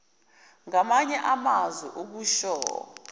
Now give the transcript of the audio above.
ngamanye amazwi usho